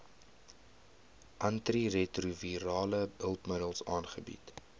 antiretrovirale middels aangebied